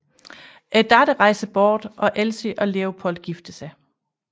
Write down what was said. Datteren rejser bort og Elsie og Leopold gifter sig